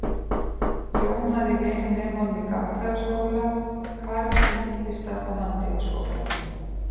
Jón hafði verið með honum í gagnfræðaskóla, karl í Myndlistar- og handíðaskólanum.